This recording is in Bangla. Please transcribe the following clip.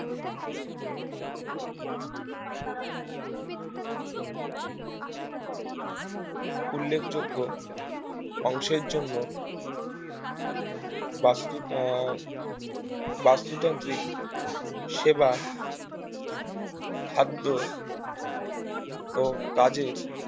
উল্লেখযোগ্য অংশের জন্য বাস্তুর আহ বস্তুতান্ত্রিক সেবা খাদ্য ও কাজের